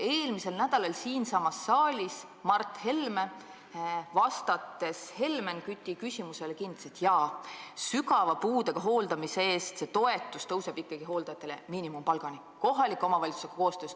Eelmisel nädalal kinnitas Mart Helme siinsamas saalis Helmen Küti küsimusele vastates, et hooldajatele makstav toetus sügava puudega inimese hooldamise eest tõuseb miinimumpalgani – see tõuseb kohaliku omavalitsusega koostöös.